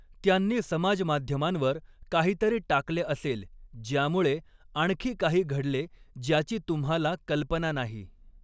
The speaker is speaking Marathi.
त्यांनी समाजमाध्यमांवर काहीतरी टाकले असेल ज्यामुळे आणखी काही घडले ज्याची तुम्हाला कल्पना नाही.